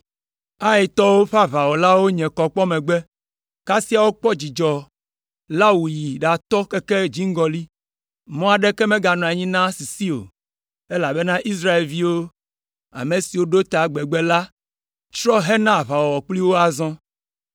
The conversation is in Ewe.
Aitɔwo ƒe aʋawɔlawo nye kɔ kpɔ megbe, kasia wokpɔ dzudzɔ la wòyi ɖatɔ keke dziŋgɔli. Mɔ aɖeke meganɔ anyi na sisi o, elabena Israelviwo, ame siwo si ɖo ta gbegbe la, trɔ hena aʋawɔwɔ kpli wo azɔ.